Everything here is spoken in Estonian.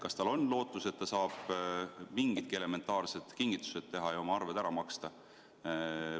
Kas tal on lootus, et ta saab mingidki elementaarsed kingitused teha ja oma arved ära maksta?